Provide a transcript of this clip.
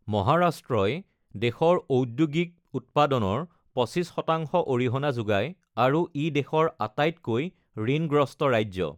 মহাৰাষ্ট্ৰই দেশৰ ঔদ্যোগিক উৎপাদনৰ ২৫ শতাংশ অৰিহণা যোগায় আৰু ই দেশৰ আটাইতকৈ ঋণগ্ৰস্ত ৰাজ্য।